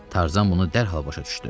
Tarzan bunu dərhal başa düşdü.